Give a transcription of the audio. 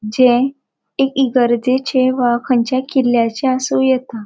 जे एक इगरजेचे वा खंयच्या किल्ल्याच्ये आसू येता.